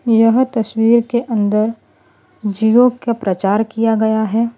यह तस्वीर के अंदर जिओ का प्रचार किया गया है।